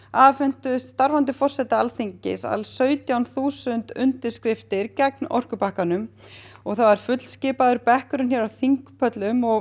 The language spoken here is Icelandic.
afhentu starfandi forseta Alþingis sautján þúsund undirskriftir gegn orkupakkanum þá var fullskipaður bekkur á þingpöllum og